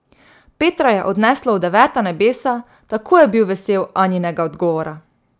Petra je odneslo v deveta nebesa, tako je bil vesel Anjinega odgovora.